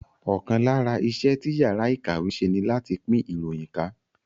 Ọ̀kan lára iṣẹ́ tí yàrá ìkàwé ń ṣe ní láti pín ìròyìn ká